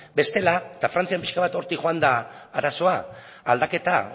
bestela eta frantzian pixka bat hortik joan da arazoa